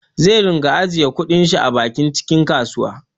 Zai dunga ajjiye kudin shi a bakin cikin kasuwa